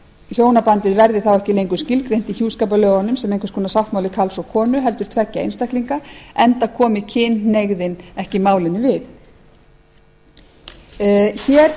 hjónabandið verði þá ekki lengur skilgreint í hjúskaparlögunum sem einhvers konar sáttmáli karls og konu heldur tveggja einstaklinga enda komi kynhneigðin ekki málinu við hér